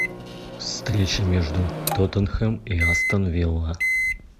встреча между тоттенхэм и астон вилла